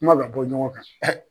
Kuma ka bɔ ɲɔgɔn kan.